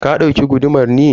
ka dauki gudumar ne?